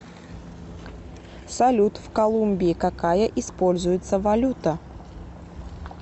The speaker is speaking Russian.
салют в колумбии какая используется валюта